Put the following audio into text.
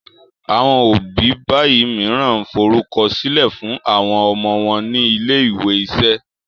àwọn òbí bayii míràn forukọsilẹ fún àwọn ọmọ wón ní ilé-ìwé iṣẹ̀